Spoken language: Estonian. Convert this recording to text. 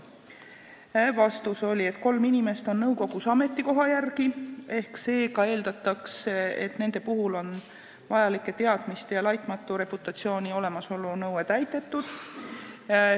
Vastus oli, et kolm inimest on nõukogus ametikoha järgi ja seega eeldatakse, et nendel on vajalike teadmiste ja laitmatu reputatsiooni olemasolu nõue täidetud.